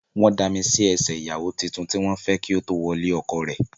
Wọ́n dami sí ẹṣẹ̀ ìyàwó tuntun tí wọ́n fẹ́ kí ó tó wọ ilé ọkọ rẹ̀.